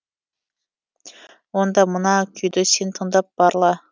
онда мына күйді сен тыңдап барла